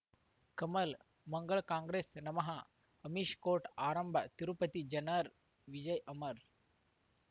ಕಮಲ್ ಮಂಗಳ್ ಕಾಂಗ್ರೆಸ್ ನಮಃ ಅಮಿಷ್ ಕೋರ್ಟ್ ಆರಂಭ ತಿರುಪತಿ ಜನರ್ ವಿಜಯ ಅಮರ್